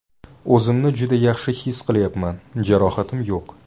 O‘zimni juda yaxshi his qilyapman, jarohatim yo‘q.